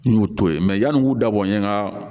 N y'o to ye mɛ yani n k'u da bɔ n ye n ka